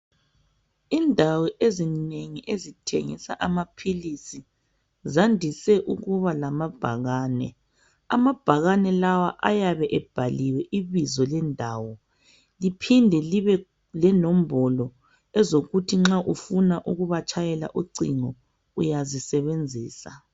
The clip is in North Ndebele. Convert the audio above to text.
Indawo ezinengi ezithengisa amaphilisi zandise ukuba lama bhakane, amabhakane lawa ayabe ebhaliwe ibizo lendawo, liphinde libe lenombolo ezokuthi nxa ufuna ukuba tshayela ucingo uyazisebenzisa.